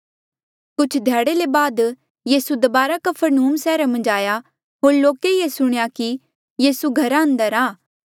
कुछ ध्याड़े ले बाद यीसू दबारा कफरनहूम सैहरा मन्झ आया होर लोके ये सुणया कि यीसू घरा अंदर आ